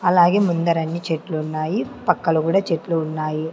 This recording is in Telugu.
అలాగే ముందరన్నీ చెట్లు ఉన్నాయి పక్కల గుడా చెట్లు ఉన్నాయి.